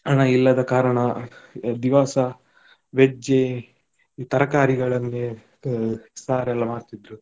ಹಣ ಇಲ್ಲದ ಕಾರಣ ದಿವಸ veg ಎ ತರಕಾರಿಗಳಲ್ಲಿಯೇ ಆ ಸಾರ್ ಎಲ್ಲ ಮಾಡ್ತಿದ್ರು.